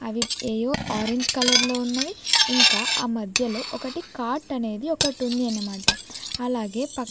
అవి యేయో orange colour లో ఉన్నవి ఇంకా ఆ మధ్యలో ఒకటి కాట్ అనేది ఒకటి ఉంది అన్నమాట అలాగే పక్ --